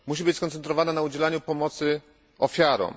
Musi być skoncentrowana na udzielaniu pomocy ofiarom.